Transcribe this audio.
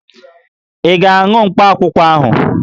Ị ga-aṅụ mkpakwụkwọ ahụ?